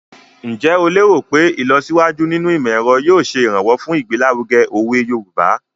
Njẹ́ o léèrò pé ìlọsíwájú nínú ìmọ̀-ẹ̀ro yóò ṣe ìrànwọ́ fun igbelaruge owe Yoruba?